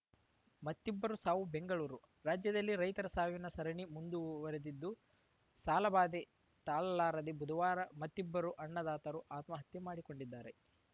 ಮತ್ತಿಬ್ಬರು ಸಾವು ಬೆಂಗಳೂರು ರಾಜ್ಯದಲ್ಲಿ ರೈತರ ಸಾವಿನ ಸರಣಿ ಮುಂದುವರೆದಿದ್ದು ಸಾಲಬಾಧೆ ತಾಲಲಾರದೇ ಬುಧವಾರ ಮತ್ತಿಬ್ಬರು ಅನ್ನದಾತರು ಆತ್ಮಹತ್ಯೆ ಮಾಡಿಕೊಂಡಿದ್ದಾರೆ